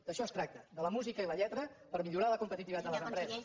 d’això es tracta de la música i la lletra per millorar la competitivitat de les empreses